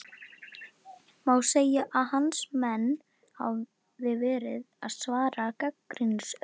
Má segja að hans menn hafi verið að svara gagnrýnisröddum?